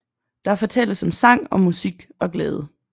Der fortælles om sang og musik og glæde